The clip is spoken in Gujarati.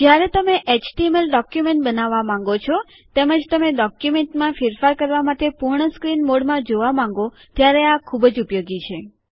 જ્યારે તમે એચટીએમએલ ડોક્યુમેન્ટ બનાવવા માંગો છો તેમજ તમે ડોક્યુમેન્ટમાં ફેરફાર કરવા માટે પૂર્ણ સ્ક્રીન મોડમાં જોવા માંગો ત્યારે આ ખુબ ઉપયોગી છે